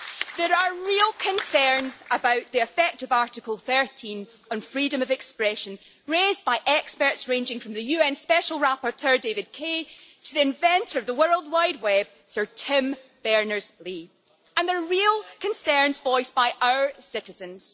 There are real concerns about the effect of Article 13 and freedom of expression, raised by experts ranging from the UN Special Rapporteur, David Kaye, to the inventor of the World Wide Web, Sir Tim Berners Lee, and there are real concerns voiced by our citizens.